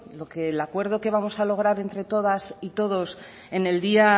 el acuerdo que vamos a lograr entre todas y todos en el día